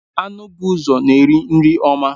Anụ bụ ụzọ na-eri nri ọma.